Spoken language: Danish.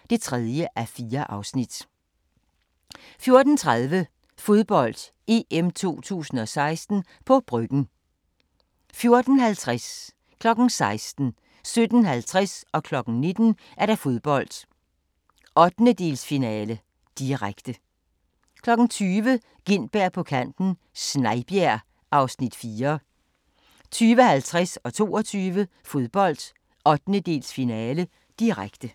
III (3:4)* 14:30: Fodbold: EM 2016 – på Bryggen 14:50: Fodbold: 1/8-finale, direkte 16:00: Fodbold: 1/8-finale, direkte 17:50: Fodbold: 1/8-finale, direkte 19:00: Fodbold: 1/8-finale, direkte 20:00: Gintberg på kanten - Snejbjerg (Afs. 4) 20:50: Fodbold: 1/8-finale, direkte 22:00: Fodbold: 1/8-finale, direkte